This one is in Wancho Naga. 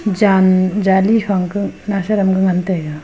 jan jali fangke nawsaram ke ngan taiga.